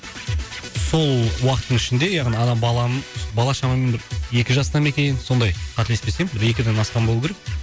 сол уақыттың ішінде яғни ана баланың бала шамамен бір екі жаста ма екен сондай қателеспесем бір екіден асқан болуы керек